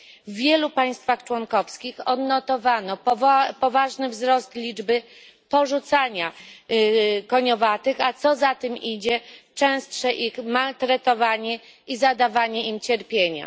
W wielu państwach członkowskich odnotowano poważny wzrost liczby przypadków porzucania koniowatych, a co za tym idzie częstsze ich maltretowanie i zadawanie im cierpienia.